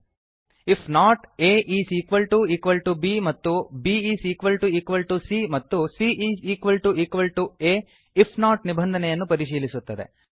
IF not aಬ್ if not A is equal to equal to B ಮತ್ತು bಸಿಎ B is equal to equal to C ಮತ್ತು cಆ C is equal to equal to A if not ನಿಬಂಧನೆಯನ್ನು ಪರಿಶೀಲಿಸುತ್ತದೆ